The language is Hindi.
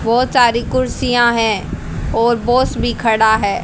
बहुत सारी कुर्सियां हैं और बॉस भी खड़ा है।